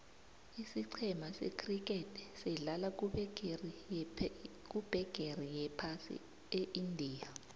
isicema se criket sedlala kubegeri yephasi eindia